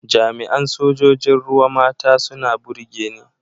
Jami’an Sojojin ruwa mata suna burge ni.